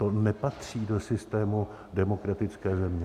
To nepatří do systému demokratické země.